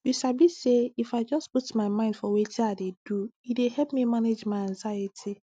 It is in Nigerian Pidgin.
you sabi say if i just put mind for weti i dey do e dey help me manage my anxiety